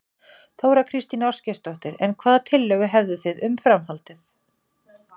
Þóra Kristín Ásgeirsdóttir: En hvaða tillögur hefðu þið um, um framhaldið?